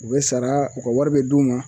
U be sara u ka wari bɛ d'u ma